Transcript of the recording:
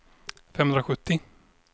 femhundrasjuttio